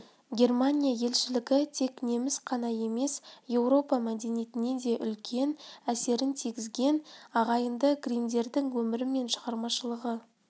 германия елшілігі тек неміс қана емес еуропа мәдениетіне де үлкен әсерінтигізген ағайынды гриммдердің өмірі мен шығармашылығы